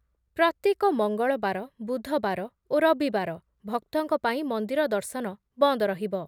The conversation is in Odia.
ପ୍ରତ୍ୟେକ ମଙ୍ଗଳବାର, ବୁଧବାର ଓ ରବିବାର ଭକ୍ତଙ୍କ ପାଇଁ ମନ୍ଦିର ଦର୍ଶନ ବନ୍ଦ ରହିବ ।